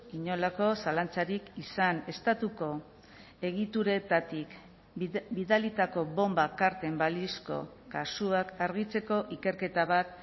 inolako zalantzarik izan estatuko egituretatik bidalitako bonba karten balizko kasuak argitzeko ikerketa bat